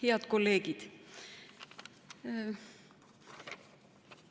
Head kolleegid!